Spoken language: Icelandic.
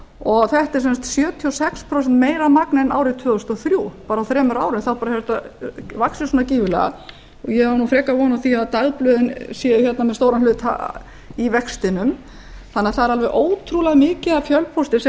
og þetta er sem sagt sjötíu og sex prósent meira magn en árið tvö þúsund og þrjú bara á þremur árum hefur þetta vaxið svona gífurlega ég á frekar von á því að dagblöðin séu með stóran hluta í vextinum þannig að það er alveg ótrúlega mikið af fjölpósti sem